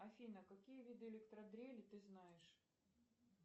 афина какие виды электродрели ты знаешь